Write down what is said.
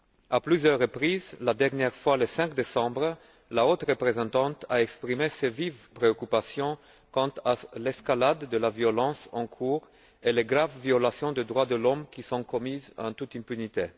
À plusieurs reprises, et pour la dernière fois le 5 décembre, la haute représentante a exprimé ses vives préoccupations quant à l'escalade de la violence en cours et aux graves violations des droits de l'homme qui sont commises en toute impunité.